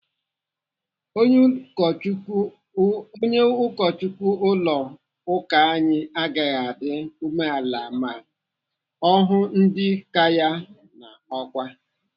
Onye Ụkọchukwu ụlọ ụka anyị aghaghị adị umeala ma ọ hụ ndị kaa ya n'ọkwá.